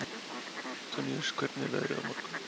Antoníus, hvernig er veðrið á morgun?